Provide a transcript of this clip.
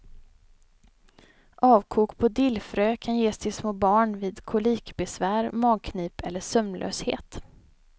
Avkok på dillfrö kan ges till små barn vid kolikbesvär, magknip eller sömnlöshet.